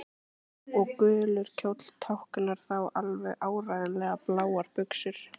Og gulur kjóll táknar þá alveg áreiðanlega bláar buxur.